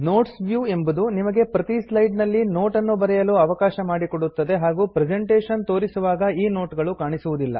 notes view ಎಂಬುದು ನಿಮಗೆ ಪ್ರತೀ ಸ್ಲೈಡ್ ನಲ್ಲಿ ನೋಟ್ ಅನ್ನು ಬರೆಯಲು ಅವಕಾಶ ಮಾಡಿಕೊಡುತ್ತದೆ ಹಾಗೂ ಪ್ರೆಸೆಂಟೇಶನ್ ತೋರಿಸುವಾಗ ಈ ನೋಟ್ ಗಳು ಕಾಣಿಸುವುದಿಲ್ಲ